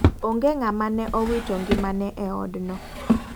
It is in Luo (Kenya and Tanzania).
Ong'e ng'ama ne owito ng'imane e odno.